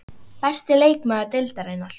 Besti leikmaður Deildarinnar?